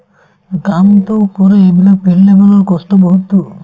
কামটো কৰে এইবিলাক কষ্ট বহুততো